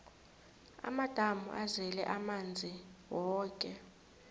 amadamu azele amanzi woke